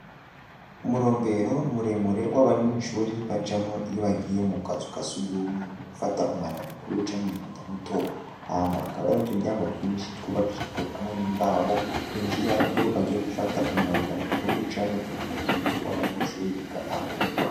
Umurombero muremure w'abanyeshure bacamwo iyo bagiye mu kazu ka sugumwe gufata umwanda mukuru canke umwanda muto. Hama hakaba hari n'uturyango duto twubakishijwe n'imbaho binjiramwo iyo bagiye gufata umwanda mukuru canke umwanda muto w'abanyeshure biga aho.